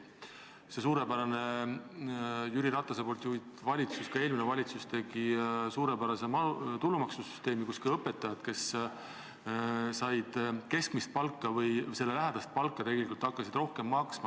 See suurepärane Jüri Ratase juhitud valitsus ja eelmine valitsus tegid suurepärase tulumaksusüsteemi, nii et ka õpetajad, kes said keskmist või selle lähedast palka, tegelikult hakkasid rohkem maksma.